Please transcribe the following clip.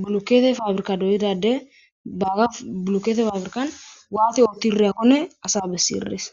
bulukkete faabrika doyidade baaga bulukete faabrikan waati oottireyakkone asa bessi erees